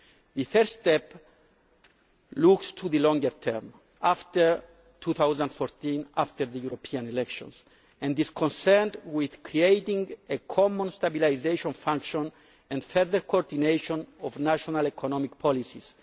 The third step looks to the longer term, after 2014 and after the European elections, and is concerned with creating a common stabilisation function and further coordination of national economic policies.